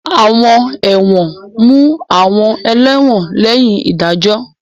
Àwọn ẹ̀wọ̀n mú àwọn ẹlẹ́wọ̀n lẹ́yìn ìdájọ́.